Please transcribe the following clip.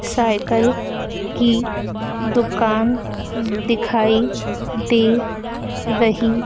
cycle की दुकान दिखाई दे रही--